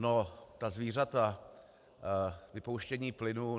No, ta zvířata, vypouštění plynu.